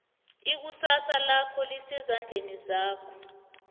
ikusasa lakho lisezandleni zakho